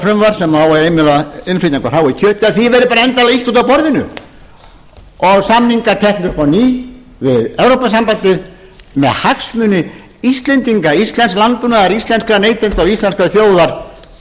verði bara endanlega ýtt út af borðinu og samningar teknir upp á ný við evrópusambandið með hagsmuni íslendinga íslensks landbúnaðar íslenskra neytenda og íslenskrar þjóðar fyrir brjósti og